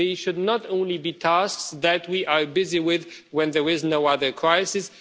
They should not only be tasks that we are busy with when there is no other crisis.